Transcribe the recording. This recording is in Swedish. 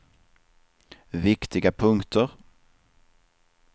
viktiga punkter